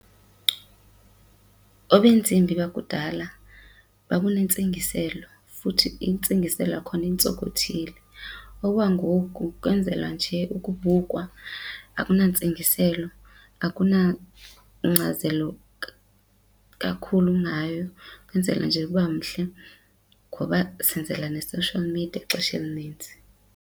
Obeentsimbi bakudala babunentsingiselo futhi intsingiselo yakhona intsonkothile. Okwangoku kwenzelwa njee ukubukwa akunantsingiselo akunankcazelo kakhulu ngayo, kwenzela nje uba mhle ngoba senzela ne-social media ixesha elinintsi.